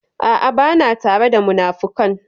A'a, ba na tare da munafukan.